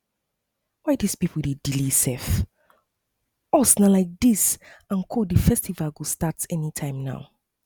why dis people dey delay um us um like dis and the festival go start anytime now